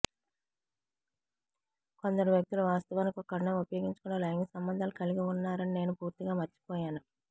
కొందరు వ్యక్తులు వాస్తవానికి ఒక కండోమ్ ఉపయోగించకుండా లైంగిక సంబంధాలు కలిగి ఉన్నారని నేను పూర్తిగా మర్చిపోయాను